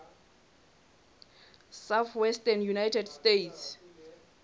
southwestern united states